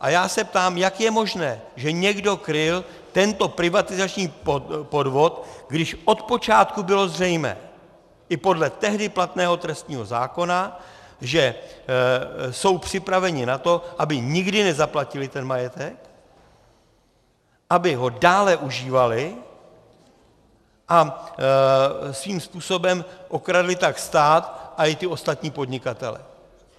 A já se ptám, jak je možné, že někdo kryl tento privatizační podvod, když od počátku bylo zřejmé i podle tehdy platného trestního zákona, že jsou připraveni na to, aby nikdy nezaplatili ten majetek, aby ho dále užívali a svým způsobem okradli tak stát a i ty ostatní podnikatele.